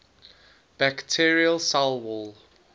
bacterial cell wall